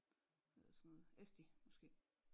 Noget sådan noget asti måske